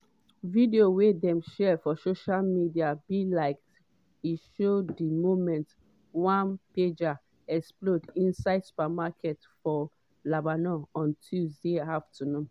video wey dem share for social media be like e show di moment one pager explode inside supermarket for lebanon on tuesday afternoon.